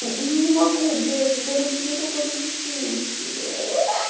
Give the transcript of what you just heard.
не могу блять это будет не по кодексу чести блять